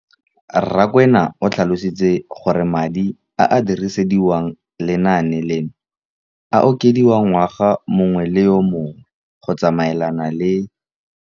Rakwena o tlhalositse gore madi a a dirisediwang lenaane leno a okediwa ngwaga yo mongwe le yo mongwe go tsamaelana le.